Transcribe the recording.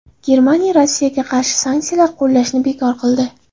Germaniya Rossiyaga qarshi sanksiyalar qo‘llashni bekor qildi.